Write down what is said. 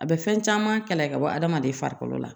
A bɛ fɛn caman kalay ka bɔ adamaden farikolo la